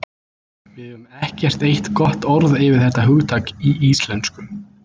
Við eigum ekkert eitt gott orð yfir þetta hugtak í íslensku.